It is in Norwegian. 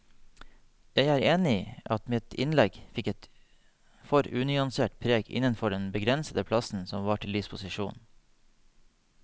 Jeg er enig i at mitt innlegg fikk et for unyansert preg innenfor den begrensede plassen som var til disposisjon.